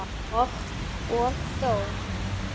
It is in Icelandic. Og þó?